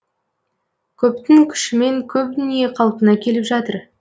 көптің күшімен көп дүние қалпына келіп жатыр